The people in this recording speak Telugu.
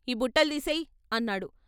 ఈ బుట్టలు తీసేయ్ అన్నాడు.